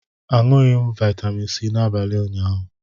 Aṅụghị m vitamin C n'abalị ụnyaahụ.